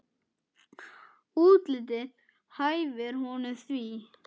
Útlitið hæfir honum því.